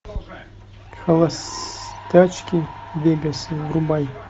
холостячки в вегасе врубай